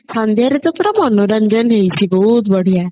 ସନ୍ଧ୍ଯା ରେ ତ ପୁରା ମନୋରଞ୍ଜନ ହେଇଛି ବହୁତ ବଢିଆ